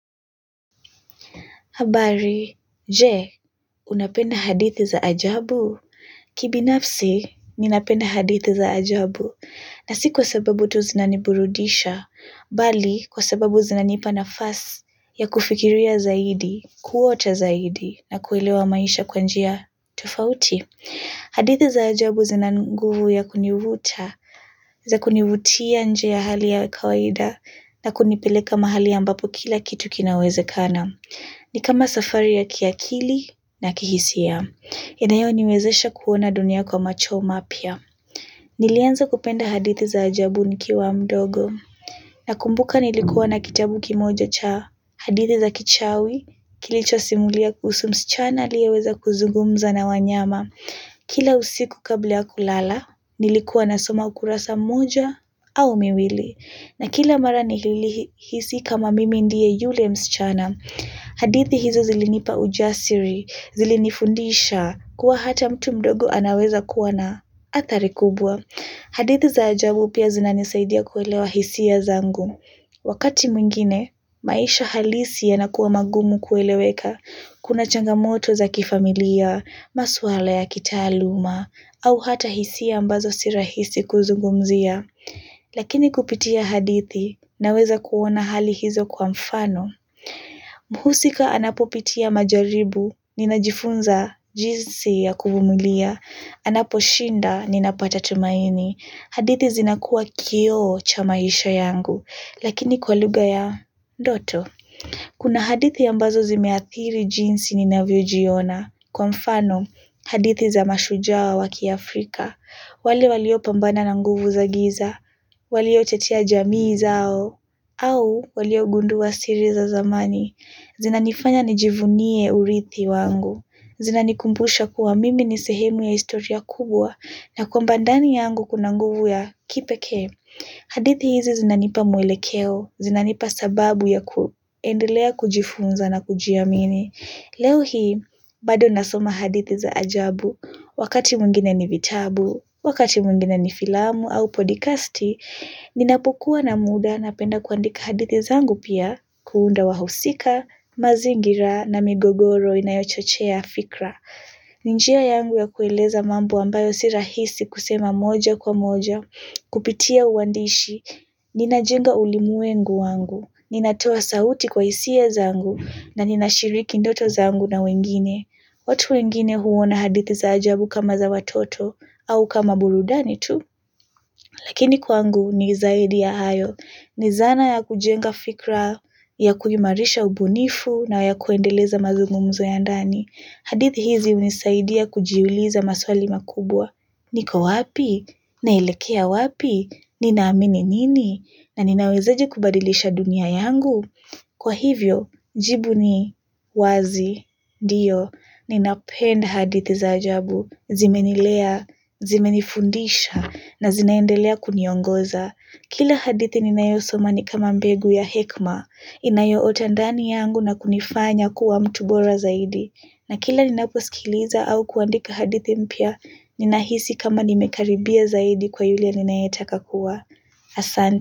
Habari, je, unapenda hadithi za ajabu. Kibinafsi, ninapenda hadithi za ajabu. Na si kwa sababu tu zinaniburudisha, bali kwa sababu zinanipa nafasi ya kufikiria zaidi, kuota zaidi, na kuelewa maisha kwa njia tofauti. Hadithi za ajabu zina nguvu ya kunivuta za kunivutia nje ya hali ya kawaida. Na kunipeleka mahali ambapo kila kitu kinawezekana. Ni kama safari ya kiakili na kihisia. Inayoniwezesha kuona dunia kwa macho mapya. Nilianza kupenda hadithi za ajabu nikiwa mdogo. Nakumbuka nilikuwa na kitabu kimoja cha Hadithi za kichawi kilichosimulia kuhusu msichana aliyeweza kuzugumza na wanyama. Kila usiku kabla ya kulala nilikuwa nasoma ukurasa moja au miwili. Na kila mara nilihisi kama mimi ndiye yule msichana. Hadithi hizo zilinipa ujasiri zilinifundisha kuwa hata mtu mdogo anaweza kuwa na athari kubwa. Hadithi za ajabu pia zinanisaidia kuelewa hisia zangu. Wakati mwingine maisha halisi yanakuwa magumu kueleweka. Kuna changamoto za kifamilia, maswala ya kitaaluma, au hata hisia ambazo si rahisi kuzungumzia. Lakini kupitia hadithi, naweza kuona hali hizo kwa mfano. Mhusika anapopitia majaribu, ninajifunza jinsi ya kuvumilia. Anapo shinda, ninapata tumaini. Hadithi zinakuwa kioo cha maisha yangu, lakini kwa lugha ya ndoto. Kuna hadithi ambazo zimeathiri jinsi ninavyojiona. Kwa mfano, hadithi za mashuja wa kiafrika. Wale walio pambana na nguvu za giza. Walio tetea jamii zao. Au, waliogundua siri za zamani. Zinanifanya nijivunie urithi wangu. Zinanikumbusha kuwa mimi ni sehemu ya historia kubwa na kwamba ndani yangu kuna nguvu ya kipekee. Hadithi hizi zinanipa mwelekeo, zinanipa sababu ya kuendelea kujifunza na kujiamini. Leo hii, bado nasoma hadithi za ajabu, wakati mwingine ni vitabu, wakati mwingine ni filamu au podikasti. Ninapokuwa na muda napenda kuandika hadithi zangu pia, kuunda wahusika, mazingira na migogoro inayo chochea fikra. Ni njia yangu ya kueleza mambo ambayo si rahisi kusema moja kwa moja, kupitia uandishi, ninajenga ulimwengu wangu, ninatoa sauti kwa hisia zangu, na ninashiriki ndoto zangu na wengine, watu wengine huona hadithi za ajabu kama za watoto, au kama burudani tu, lakini kwangu ni zaidi ya hayo, ni zana ya kujenga fikra ya kuimarisha ubunifu na ya kuendeleza mazungumzo ya ndani. Hadithi hizi hunisaidia kujiuliza maswali makubwa. Niko wapi? Naelekea wapi? Ninaamini nini? Na ninawezaje kubadilisha dunia yangu? Kwa hivyo, jibu ni wazi, ndio, ninapenda hadithi za ajabu, zimenilea, zimenifundisha, na zinaendelea kuniongoza. Kila hadithi ninayosoma ni kama mbegu ya hekma, inayoota ndani yangu na kunifanya kuwa mtu bora zaidi. Na kila ninaposikiliza au kuandika hadithi mpya, ninahisi kama nimekaribia zaidi kuwa yule ninayetaka kuwa. Asante.